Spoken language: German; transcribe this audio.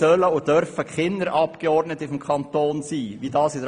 Dasselbe gilt übrigens auch für die Spitäler, die sich in Kantonsbesitz befinden.